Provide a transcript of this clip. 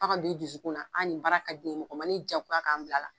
F'a ka do i dusukunan a ni baara ka di ne ye mɔgɔ ma ne jago ya k'an bila la.